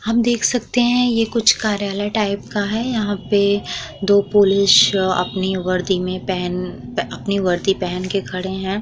हम देख सकते हैं ये कुछ कार्यलय टाइप का है। यहां पे दो पुलिस अपने वर्दी में पहने अपने वर्दी पहन के खड़े हैं।